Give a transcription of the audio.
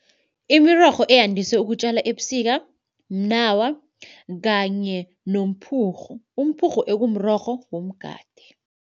Imirorho eyandise ukutjalwa ebusika mnawa kanye nomphurhu. Umphurhu ekumrorho womgade.